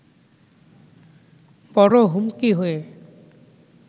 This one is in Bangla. বড় হুমকি হয়ে